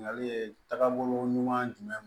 Ɲininkali ye taabolo ɲuman jumɛn ye